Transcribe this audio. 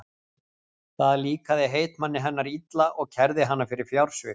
Það líkaði heitmanni hennar illa og kærði hana fyrir fjársvik.